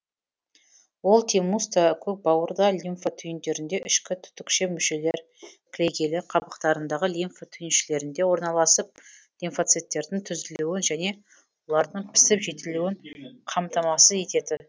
ол тимуста көкбауырда лимфа түйіндерінде ішкі түтікше мүшелер кілегейлі қабықтарындағы лимфа түйіншелерінде орналасып лимфоциттердің түзілуін және олардың пісіп жетілуін қамтамасыз ететін